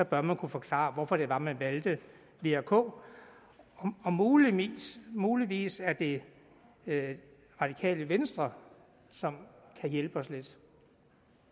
bør man kunne forklare hvorfor det var man valgte v og k muligvis muligvis er det radikale venstre som kan hjælpe os lidt